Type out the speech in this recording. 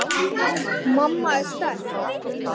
Mamma er sterk.